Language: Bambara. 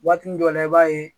Waati dɔ la i b'a ye